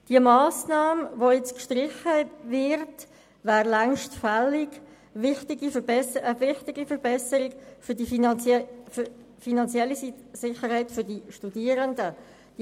Die Massnahme, die jetzt gestrichen werden soll, wäre längst fällig und würde eine wichtige Verbesserung für die finanzielle Sicherheit der Studierenden bringen.